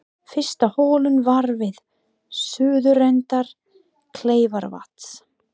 Fyrsta holan var við suðurenda Kleifarvatns.